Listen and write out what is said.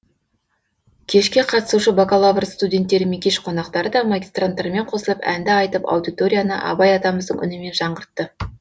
кешке қатысушы бакалавр студенттері мен кеш қонақтары да магистранттармен қосылып әнді айтып аудиторияны абай атамыздың үнімен жаңғыртты